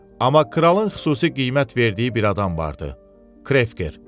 Amma kralın xüsusi qiymət verdiyi bir adam vardı: Krefker.